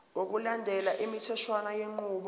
ngokulandela imitheshwana yenqubo